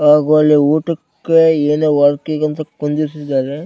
ಹಾಗು ಅಲ್ಲಿ ಊಟಕ್ಕೆ ಏನೇ ವರ್ಕಿಗ್ ಅಂತ ಕುಂದಿರಿಸಿದ್ದಾರೆ.